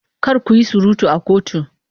Kar ku yi surutu a kotu!